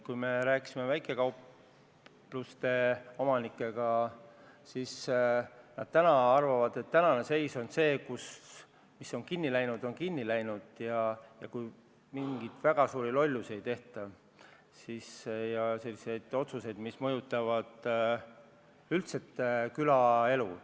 Kui me rääkisime väikekaupluste omanikega, siis nad arvasid, et mis on kinni läinud, need ka kinni jäävad.